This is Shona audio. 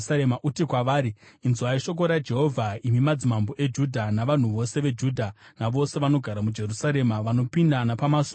Uti kwavari, ‘Inzwai shoko raJehovha, imi madzimambo eJudha navanhu vose veJudha navose vanogara muJerusarema vanopinda napamasuo aya.